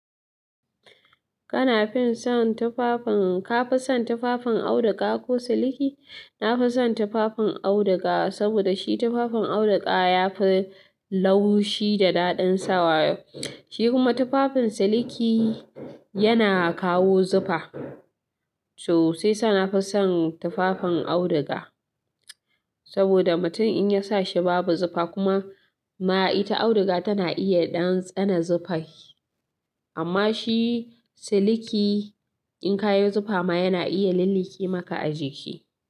Kana fison tufafin, ka fison tufafin auduga ko siliki? Na fison tufafin auduga, saboda shi tufafin auduga yafi laushi da ɗaɗin sawa. Shi kuma tufafin siliki yana kawo zufa, to sai sa na fison tufafin auduga. Saboda mutum in ya sa shi babu zufa kuma ma ita auduga tana iya ɗan tsane zufai. Amma shi siliki in ka yo zufa ma yana iya lilliƙe maka a jiki.